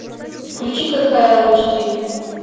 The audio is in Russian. включи кхл эйч ди